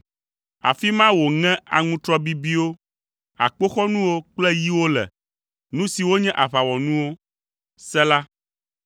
Afi ma wòŋe aŋutrɔ bibiwo, akpoxɔnuwo kple yiwo le, nu siwo nye aʋawɔnuwo. Sela